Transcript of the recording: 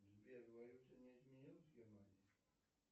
сбер валюта не изменилась в германии